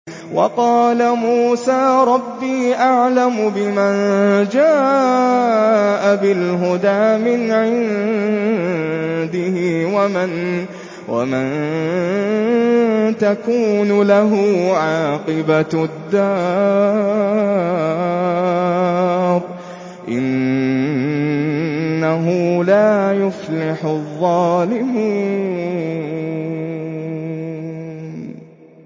وَقَالَ مُوسَىٰ رَبِّي أَعْلَمُ بِمَن جَاءَ بِالْهُدَىٰ مِنْ عِندِهِ وَمَن تَكُونُ لَهُ عَاقِبَةُ الدَّارِ ۖ إِنَّهُ لَا يُفْلِحُ الظَّالِمُونَ